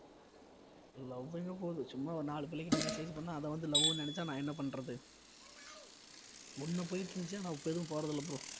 love எங்க போது சும்மா ஒரு நாலு பிள்ளைகிட்ட message பண்ணா அதை வந்து love ன்னு நினைச்சா நான் என்ன பண்றது ஒண்ணு போயிட்டிருந்துச்சு ஆனா இப்ப எதுவும் போறதில்ல bro